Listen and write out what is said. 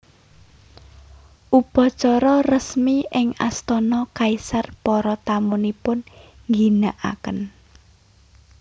Upacara resmi ing astana kaisar para tamunipun ngginakaken